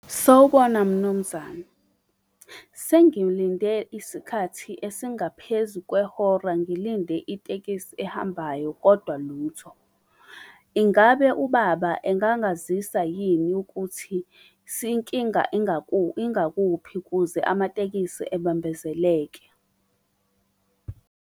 Sawubona, mnumzane. Sengilinde isikhathi esingaphezu kwehora ngilinde itekisi ehambayo kodwa lutho. Ingabe ubaba engangazisa yini ukuthi inkinga ingakuphi ukuze amatekisi ebambezeleke?